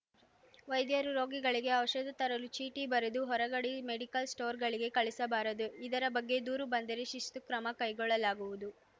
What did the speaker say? ವೈದ್ಯರು ರೋಗಿಗಳಿಗೆ ಔಷಧ ತರಲು ಚೀಟಿ ಬರೆದು ಹೊರಗಡೆ ಮೆಡಿಕಲ್ಸ್‌ ಸ್ಟೋರ್‌ಗಳಿಗೆ ಕಳಿಸಬಾರದು ಇದರ ಬಗ್ಗೆ ದೂರು ಬಂದರೆ ಶಿಸ್ತು ಕ್ರಮ ಕೈಗೊಳ್ಳಲಾಗುವುದು